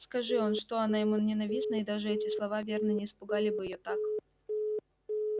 скажи он что она ему ненавистна и даже эти слова верно не испугали бы её так